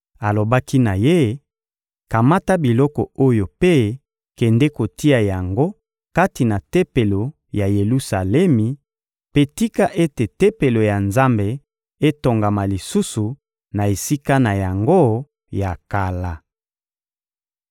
Alobaki na ye: ‘Kamata biloko oyo mpe kende kotia yango kati na Tempelo ya Yelusalemi; mpe tika ete Tempelo ya Nzambe etongama lisusu na esika na yango ya kala.’